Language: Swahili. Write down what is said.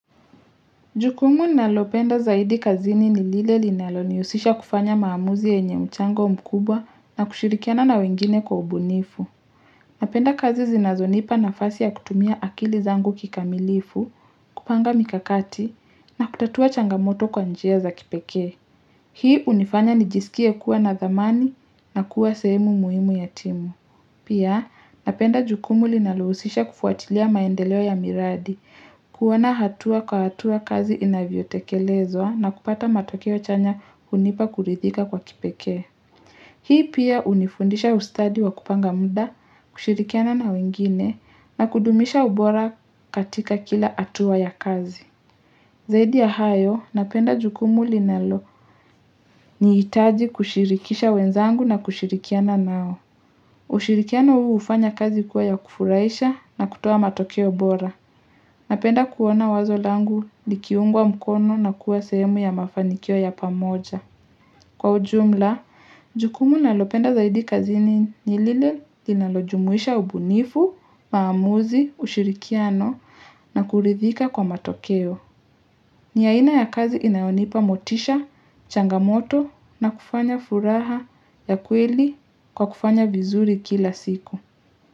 Jukumu nalopenda zaidi kazini ni lile linalo niusisha kufanya maamuzi yenye mchango mkubwa na kushirikiana na wengine kwa ubunifu. Napenda kazi zinazonipa nafasi ya kutumia akili zangu kikamilifu, kupanga mikakati na kutatua changamoto kwa njia za kipeke. Hii hunifanya nijisikie kuwa na zamani na kuwa semu muhimu ya timu. Pia, napenda jukumu linaluhusisha kufuatilia maendeleo ya miradi, kuwana hatua kwa hatua kazi inavyo tekelezwa na kupata matokeo chanya hunipa kurithika kwa kipekee. Hii pia hunifundisha ustadi wa kupanga muda, kushirikiana na wengine, na kudumisha ubora katika kila hatua ya kazi. Zaidi ya hayo, napenda jukumu linalo ni itaji kushirikisha wenzangu na kushirikiana nao. Ushirikiano huu ufanya kazi kuwa ya kufuraisha na kutoa matokeo bora. Napenda kuwana wazo langu likiungwa mkono na kuwa sehemu ya mafanikio ya pamoja. Kwa ujumla, jukumu nalopenda zaidi kazini nilile linalojumuisha ubunifu, maamuzi, ushirikiano na kuridhika kwa matokeo. Ni yaina ya kazi inayonipa motisha, changamoto na kufanya furaha ya kweli kwa kufanya vizuri kila siku.